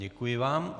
Děkuji vám.